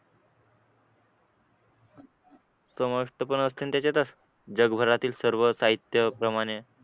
समष्ट पण असेल त्याच्यातच जगभरातील सर्व साहित्य प्रमाणे